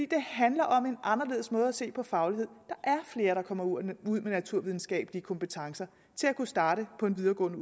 det handler om en anderledes måde at se på faglighed der er flere der kommer ud med naturvidenskabelige kompetencer til at kunne starte på en videregående